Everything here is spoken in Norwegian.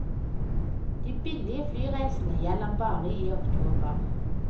De billige flyreisene gjelder bare i oktober.